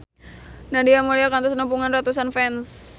Nadia Mulya kantos nepungan ratusan fans